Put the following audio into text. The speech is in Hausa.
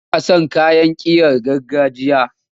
Ina son kayan ƙirar gargajiya.